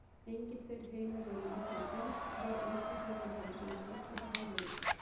Engir tveir heilar eru nákvæmlega eins, og hver einstaklingur hefur sína sérstöku hæfileika.